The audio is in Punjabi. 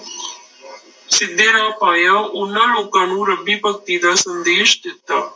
ਸਿੱਧੇ ਰਾਹ ਪਾਇਆ, ਉਹਨਾਂ ਲੋਕਾਂ ਨੂੰ ਰੱਬੀ ਭਗਤੀ ਦਾ ਸੰਦੇਸ਼ ਦਿੱਤਾ।